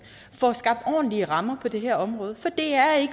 får skabt ordentlige rammer på det her område for det er